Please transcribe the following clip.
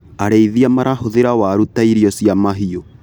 Arĩithia marahũthĩra waru ta irio cia mahiũ.